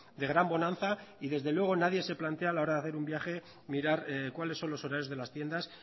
de gran bonanza y desde luego nadie se plantea a la hora de hacer un viaje mirar cuáles son los horarios de las tiendas